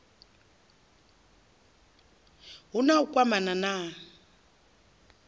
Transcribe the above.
hu na u kwamana na